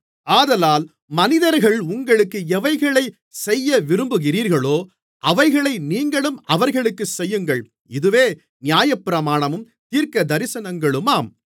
ஆதலால் மனிதர்கள் உங்களுக்கு எவைகளைச் செய்யவிரும்புகிறீர்களோ அவைகளை நீங்களும் அவர்களுக்குச் செய்யுங்கள் இதுவே நியாயப்பிரமாணமும் தீர்க்கதரிசனங்களுமாம்